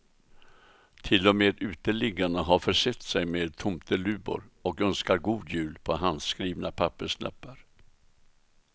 Till och med uteliggarna har försett sig med tomteluvor och önskar god jul på handskrivna papperslappar.